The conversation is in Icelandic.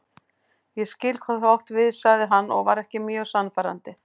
Ég skil hvað þú átt við sagði hann og var ekki mjög sannfærandi.